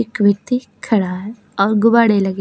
एक व्यक्ति खड़ा है और गुब्बाड़े लगे हैं।